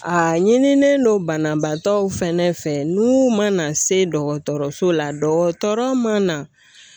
A ɲinilen don banabaatɔw fɛnɛ fɛ n'u ma na se dɔgɔtɔrɔso la dɔgɔtɔrɔ ma